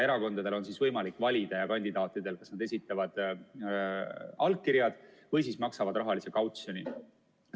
Erakondadel ja kandidaatidel on võimalik valida, kas nad esitavad allkirjad või maksavad rahalise kautsjoni.